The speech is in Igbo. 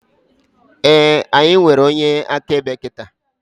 Éè, anyị nwere onye akaebe kịta